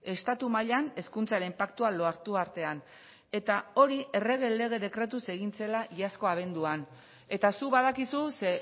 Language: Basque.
estatu mailan hezkuntzaren paktua lortu artean eta hori errege lege dekretuz egin zela iazkoa abenduan eta zuk badakizu ze